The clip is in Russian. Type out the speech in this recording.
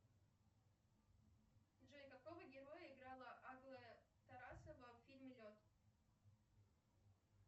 джой какого героя играла аглая тарасова в фильме лед